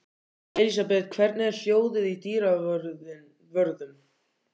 Elísabet, hvernig er hljóðið í dyravörðum?